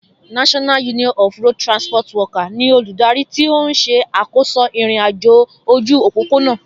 NURTW ni olùdarí tí ó ń ṣe àkóso ìrìn-àjò ojú òpópónà